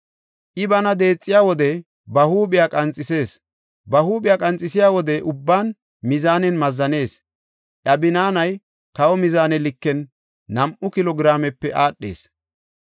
I bana deexiya wode ba huuphiya qanxisees. Ba huuphiya qanxisiya wode ubban mizaanen mazzanees; iya binaanay kawo mizaane liken nam7u kilo giraamepe aadhees.